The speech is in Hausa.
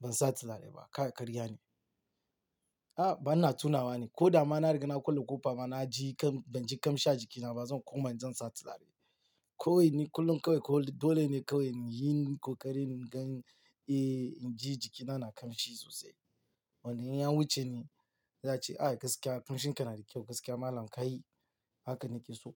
ban sa turare ba, ka karya ne. A'a, ban na tunawa ne. Ko da ma na riga na kulle ƙofa ma na ji kam, ban ji ƙamshi a jikina ba zan koma in zan sa turare. Ko ina ne kullum kawai dole ne kawai yin kokari na gan, eh, in ji jikina na kamshi sosai. Wanda in an wuce ni za'a ce, "ai! Gaskiya kamshin ka na da kyau, gaskiya malam ka yi." Haka nake so.